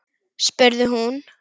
spurði hún